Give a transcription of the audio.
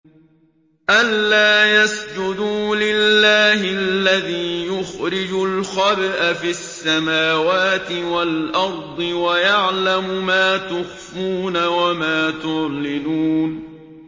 أَلَّا يَسْجُدُوا لِلَّهِ الَّذِي يُخْرِجُ الْخَبْءَ فِي السَّمَاوَاتِ وَالْأَرْضِ وَيَعْلَمُ مَا تُخْفُونَ وَمَا تُعْلِنُونَ